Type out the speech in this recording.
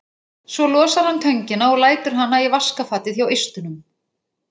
Svo losar hann töngina og lætur hana í vaskafatið hjá eistunum.